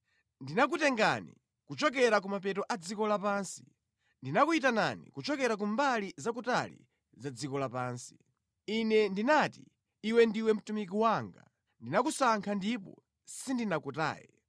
Ndinakutengani kuchokera ku mapeto a dziko lapansi, ndinakuyitanani kuchokera ku mbali za kutali za dziko lapansi. Ine ndinati, ‘Iwe ndiwe mtumiki wanga;’ Ndinakusankha ndipo sindinakutaye.